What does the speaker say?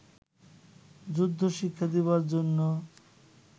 যুদ্ধশিক্ষা দিবার জন্য